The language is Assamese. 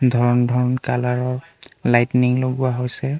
ধৰণ ধৰণ কালাৰৰ লাইটনিং লগোৱা হৈছে।